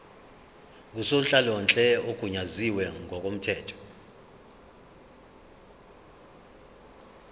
ngusonhlalonhle ogunyaziwe ngokomthetho